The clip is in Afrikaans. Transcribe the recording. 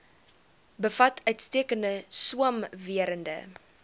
bevat uitstekende swamwerende